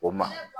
O ma